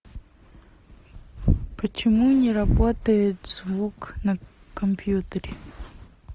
почему не работает звук на компьютере